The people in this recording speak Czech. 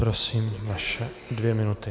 Prosím, vaše dvě minuty.